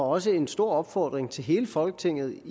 også en stor opfordring til hele folketinget